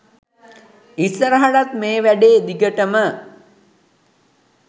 ඉස්සරහටත් මේ වැඩේ දිගටම